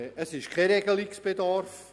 Es besteht kein Regelungsbedarf.